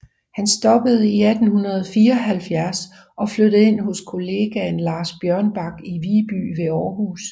Han stoppede i 1874 og flyttede ind hos kollegaen Lars Bjørnbak i Viby ved Aarhus